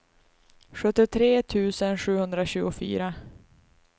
sjuttiotre tusen sjuhundratjugofyra